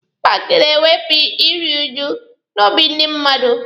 Paaki na-ewepụ iru uju n'obi ndị mmadụ.